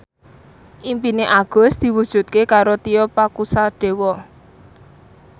impine Agus diwujudke karo Tio Pakusadewo